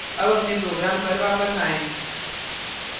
अब अपने program पर वापस आएँ